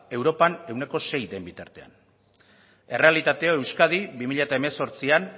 europan ehuneko seia den bitartean errealitatea euskadi bi mila hemezortzian